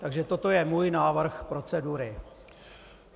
Takže toto je můj návrh procedury.